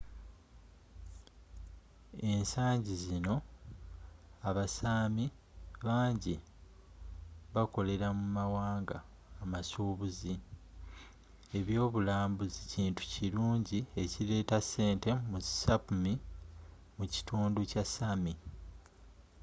ensangi zino abasaami bangi bakolera mu mawanga amasuubuzi ebyobulambuzi kintu kirungi ekireeta ssente mu sapmi mu kitundu kya sami